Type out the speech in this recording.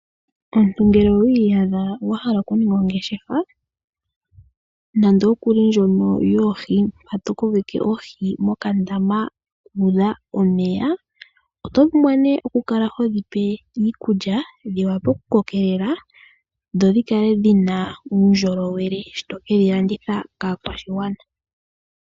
Omuntu ngele owi yadha wa hala oku ninga ongeshefa, nando kuli ndjoka yoku ko keka oohi moka ndama muudha omeya. Oto pumbwa ne oku kalah hodhi pe iikulya, dhi vule oku koke lela, dho dhikale dhina uundjolowele, shoka tokedhi landitha kaakwashigwana.